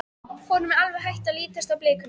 Honum var alveg hætt að lítast á blikuna.